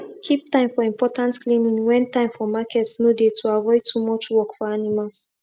keep time for important cleaning when time for market no dey to avoid too much work for animals